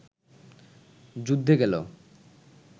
যুদ্ধে গেল